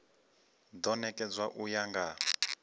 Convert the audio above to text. do nekedzwa u ya nga